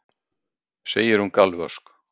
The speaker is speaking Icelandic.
segir hún galvösk.